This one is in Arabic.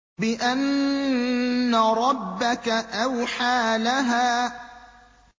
بِأَنَّ رَبَّكَ أَوْحَىٰ لَهَا